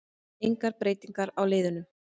Engar breytingar á liðunum